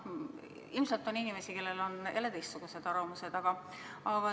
Ilmselt on inimesi, kellel on jälle teistsugused arvamused.